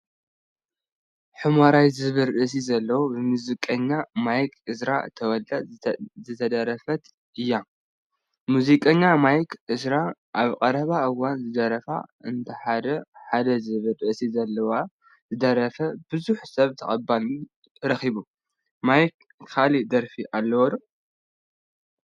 ሑሞራይ ዝብል ርእሲ ዘለዋ ብሙዚቀኛ ማክ ኢዝራ ተወልዳ ዝተደረፈተት እያ ሙዚቀኛ ማርክ ኢዝራ ኣብ ቀረባ እዋን ዝደረፋ እንተዋሓደ ሓደ ዝብል ርእሲ ዘለዋ ዝደረፋ ብዙሕ ሰብ ተቀባልነት ረኪቡ። ማርክ ካሊእ ደረፊ ኣለዎ ዶ ?